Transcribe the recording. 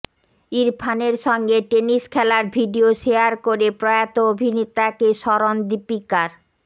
ইরফানের সঙ্গে টেনিস খেলার ভিডিও শেয়ার করে প্রয়াত অভিনেতাকে স্মরণ দীপিকার